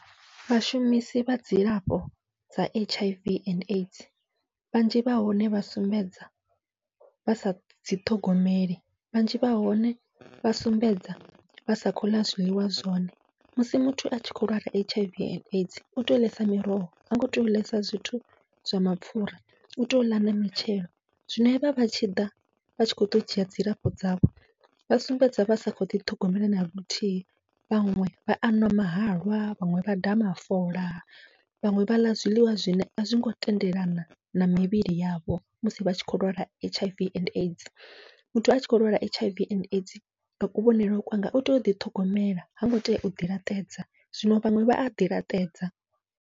Vhashumisi vha dzilafho dza H I V and A I D S vhanzhi vha hone vha sumbedza vha sa dzi ṱhogomeli, vhanzhi vha hone vha sumbedza vha sa khou ḽa zwiḽiwa zwone musi muthu atshi kho lwala H I V and A I D S utea u ḽesa miroho hango tea u ḽesa zwithu zwa mapfhura, u tea uḽa na mitshelo zwino hevha vha tshiḓa vha tshi khou ḓa u dzhia dzilafho dzavho vha sumbedza vha sa kho ḓi ṱhogomela naluthihi. Vhaṅwe vha anwa mahalwa, vhaṅwe vha daha mafola, vhaṅwe vha ḽa zwiḽiwa zwine azwingo tendelana na mivhili yavho musi vha tshi kho lwala H I V and A I D S, muthu atshi kho lwala H I V and A I D S nga kuvhonele kwanga utea uḓi ṱhogomela hango tea uḓi laṱedza, zwino vhaṅwe vha aḓi laṱedza.